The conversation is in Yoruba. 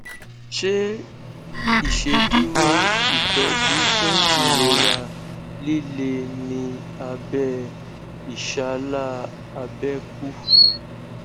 ṣe iṣeduro itọju fun irora lile ni abẹ ìṣàlà abẹkú